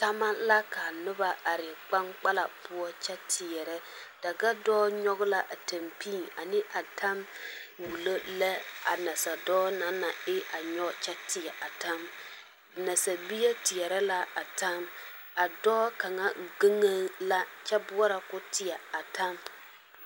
Tama la ka noba are kpaŋkpala poɔ a kyɛ teɛrɛ dagadɔɔ nyɔge la a tampii a tam wulo lɛ a nasadɔɔ naŋ na e nyɔge kyɛ teɛ a tam nasabie teɛrɛ la a tam a dɔɔ kaŋa geŋee la kyɛ boɔrɔ ka o teɛ a tam